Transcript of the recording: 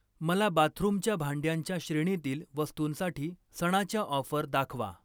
मला बाथरूमच्या भांड्यांच्या श्रेणीतील वस्तूंसाठी सणाच्या ऑफर दाखवा.